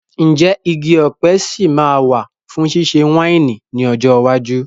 Ǹjẹ́ igi ọ̀pẹ sì máa wà fún ṣíṣe wáìnì ní ọjọ́ iwájú?